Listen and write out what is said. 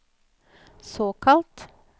såkalt